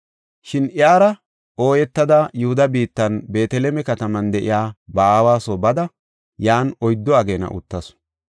Shin iyara ooyetada Yihuda biittan Beeteleme kataman de7iya ba aawa soo bada yan oyddu ageena uttasu.